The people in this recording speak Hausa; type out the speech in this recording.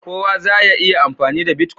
kowa za ya iya amfani da " Bitcoin"?